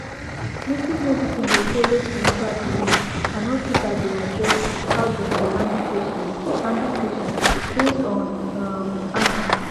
native medicine dey follow spiritual belief and hospital dey adjust how dem dey handle patient handle patient based on um am